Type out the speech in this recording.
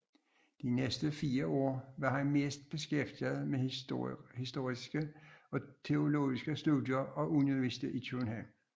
De næste 4 år var han mest beskæftiget med historiske og teologiske studier og undervisning i København